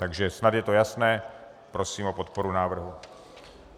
Takže snad je to jasné, prosím o podporu návrhu.